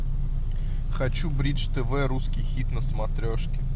хочу бридж тв русский хит на смотрешке